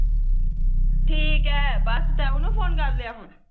ਠੀਕੇ ਬਸ ਤੂੰ ਉਹਨੂੰ ਫੋਨ ਕਰ ਲਿਆ ਹੁਣ